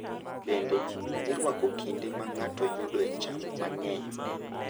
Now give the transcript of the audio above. Bende, irwako kinde ma ng’ato yudoe cham mang’eny.